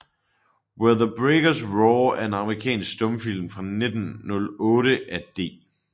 Where the Breakers Roar er en amerikansk stumfilm fra 1908 af D